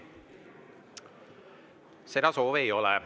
Seda soovi ei ole.